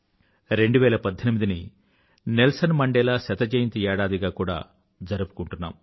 2018ని Nelson Mandela శతజయంతి ఏడాదిగా కూడా జరుపుకుంటున్నాము